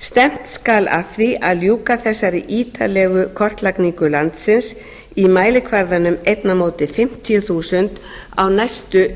stefnt skal að því ljúka þessari ítarlegu kortlagningu landsins í mælikvarðanum ein fimmtíu þúsund á næstu